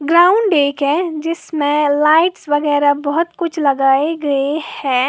Ground एक है जिसमे लाइट्स वगैरह बहुत कुछ लगाए गए हैं।